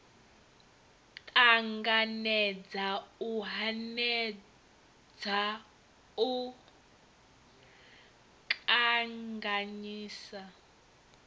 ṱanganedza u hanedza u kanganyisa